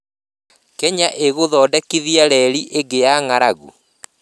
Kenya ĩgũthondekithia reri ĩngĩ ya 'ng'aragu'?